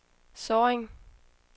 Sorring